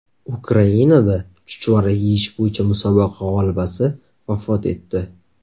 Ukrainada chuchvara yeyish bo‘yicha musobaqa g‘olibasi vafot etdi.